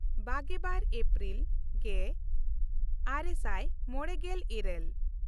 ᱵᱟᱜᱮᱼᱵᱟᱨ April ᱜᱮᱼᱟᱨᱮ ᱥᱟᱭ ᱢᱚᱬᱮᱜᱮᱞ ᱤᱨᱟᱹᱞ